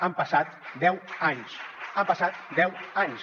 han passat deu anys han passat deu anys